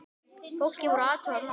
Fólkið fór að athuga málið.